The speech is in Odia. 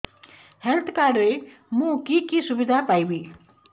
ହେଲ୍ଥ କାର୍ଡ ରେ ମୁଁ କି କି ସୁବିଧା ପାଇବି